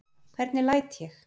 Hvernig læt ég?